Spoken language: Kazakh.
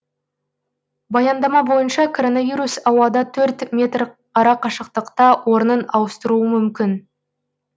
баяндама бойынша коронавирус ауада төрт метр арақашықтықта орнын ауыстыруы мүмкін